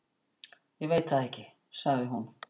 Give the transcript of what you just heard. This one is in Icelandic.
"""Ég veit það ekki, sagði hún."""